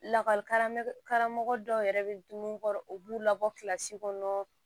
Lakɔli karamɔgɔ karamɔgɔ dɔw yɛrɛ bɛ dumuni kɔrɔ u b'u labɔ kilasi kɔnɔ